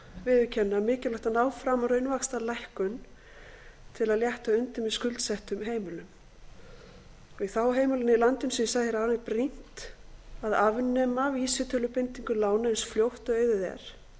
viðurkenna mikilvægt er að ná fram raunvaxtalækkun til að létta undir með skuldsettum heimilum í þágu heimilanna í landinu eins og ég sagði hér áðan er brýnt að afnema vísitölubindingu lána eins fljótt og auðið er